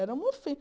Era uma